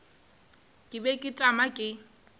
ke be ke tšama ke